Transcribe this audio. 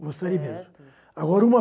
Gostaria mesmo. Certo. Agora uma